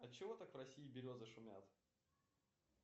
отчего так в россии березы шумят